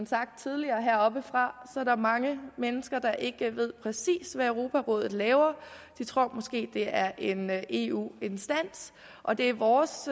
sagt tidligere heroppefra er der mange mennesker der ikke ved præcis hvad europarådet laver de tror måske at det er en eu instans og det er vores